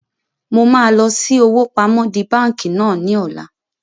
Mo máa lọ sí owó pamọ́ di báńkì náà ni ọ̀la